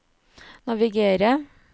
naviger